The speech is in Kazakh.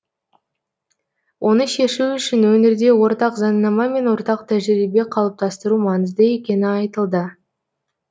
оны шешу үшін өңірде ортақ заңнама мен ортақ тәжірибе қалыптастыру маңызды екені айтылды